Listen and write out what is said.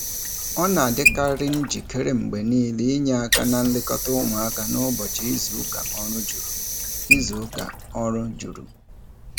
Ọ na-adịkarị njikere mgbe niile inye aka na nlekọta ụmụaka n'ụbọchị izuụka ọrụ juru. izuụka ọrụ juru.